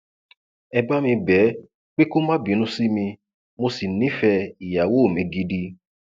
ẹ bá mi bẹ ẹ pé kó má bínú sí mi mo sì nífẹẹ ìyàwó mi gidi